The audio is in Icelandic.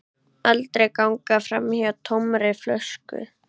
Aldrei ganga framhjá tómri flösku.